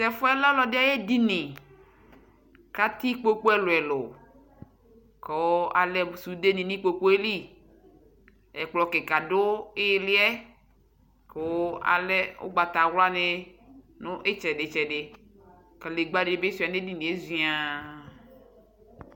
tɛƒʋɛ lɛ ɔlɔdi ayɛ ɛdini kʋ atɛ ikpɔkʋ ɛlʋɛlʋ kʋ alɛ sʋdɛ ni nʋ ikpɔkʋɛ li, ɛkplɔ kikaa dʋ iliɛ kʋ alɛ ɔgbatawla ni nʋ itsɛdi itsɛdi, kadigba dibi sʋa nʋ ɛdiniɛ ziaa.